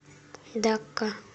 дакка